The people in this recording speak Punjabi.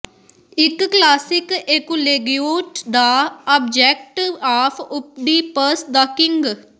ਇਕ ਕਲਾਸਿਕ ਏਕੁਲੇਗੂਏਟ ਦਾ object of Oedipus the king